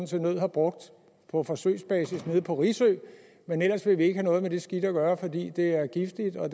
til nød har brugt på forsøgsbasis nede på risø men ellers vil vi ikke have noget med det skidt at gøre fordi det er giftigt og